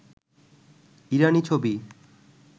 ইরানী ছবি